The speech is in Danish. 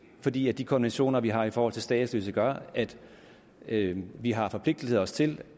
fordi de konventioner vi har i forhold til statsløse gør at vi har forpligtiget os til